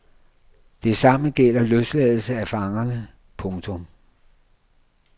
Det samme gælder løsladelse af fangerne. punktum